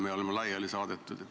Meie oleme juba laiali saadetud.